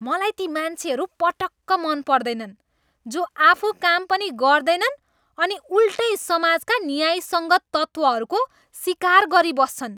मलाई ती मान्छेहरू पटक्क मनपर्दैनन् जो आफू काम पनि गर्दैनन् अनि उल्टै समाजका न्यायसङ्गत तत्त्वहरूको सिकार गरिबस्छन्।